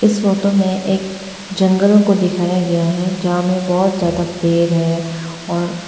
इस फोटो में एक जंगल को दिखाया गया है जहां में बहोत ज्यादा पेड़ है और--